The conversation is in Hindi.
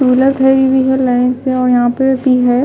टूविलर खड़ी हुई है लाइन से ओर यह पर भी है।